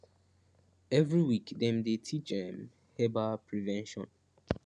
every week dem dey teach um herbal prevention